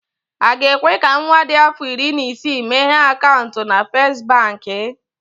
Aga ekwe ka nwa dị afọ iri na isii meghee akaụntụ na First Baankị?